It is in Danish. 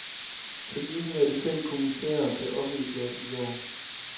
Kritikken af de fem kommissærer blev offentliggjort i går.